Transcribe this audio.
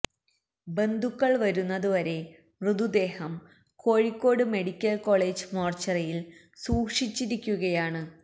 ബന്ധുക്കൾ വരുന്നത് വരെ മൃതദേഹം കോഴിക്കോട് മെഡിക്കൽ കോളേജ് മോർച്ചറിയിൽ സൂക്ഷിച്ചിരിക്കുകയാണ്